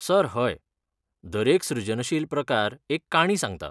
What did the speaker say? Sir, हय. दरेक सृजनशील प्रकार एक काणी सांगता.